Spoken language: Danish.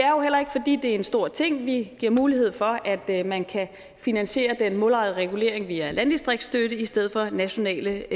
er en stor ting vi giver mulighed for at man kan finansiere den målrettede regulering via landdistriktsstøtte i stedet for nationale